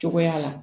Cogoya la